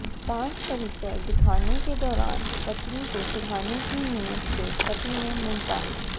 ताज परिसर दिखाने के दौरान पत्नी को चिढ़ाने की नीयत से पति ने मुमताज